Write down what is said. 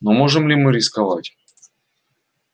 но можем ли мы рисковать